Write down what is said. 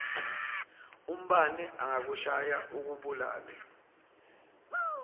umbane angakushaya akubulale